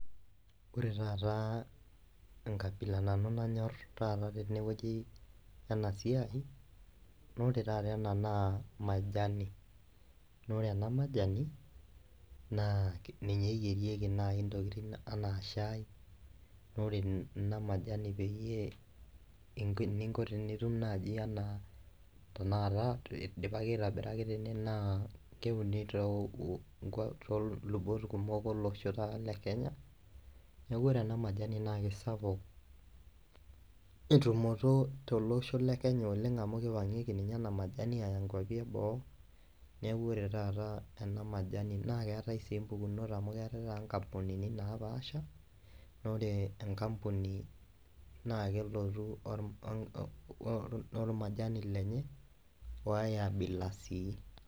Ore taata enkabila nanu nanyorr taata tenewoji ena siai naa ore taata ena naa majani naa ore ena majani naa ninye eyierieki naaji intokitin anaa shai nore ena majani peyie inko eninko piitum naaji anaa tenakata idipaki aitabira ake tene naa keuni tolubot kumok olosho taata le kenye neku ore ena majani naa kisapuk entumoto tolosho le kenya oleng amu kipang'ieki ninye ena majani aya inkuapi eboo neku ore taata ena majani naa keetae sii impukunot amu keetae taata inkampunini napaasha nore enkampuni naa kelotu or ormajani lenye woae abila sii.